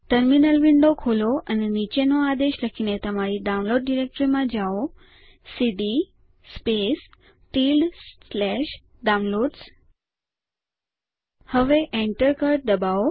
terminal window ખોલો અને નીચેનો આદેશ લખીને તમારી ડાઉનલોડ ડિરેક્ટરીમાં જાઓ સીડી Downloads હવે Enter કળ દબાવો